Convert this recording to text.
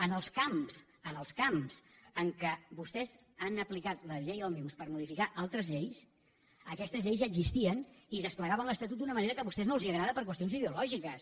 en els camps en què vostès han aplicat la llei òmnibus per modificar altres lleis aquestes lleis ja existien i desplegaven l’estatut d’una manera que a vostès no els agrada per qüestions ideològiques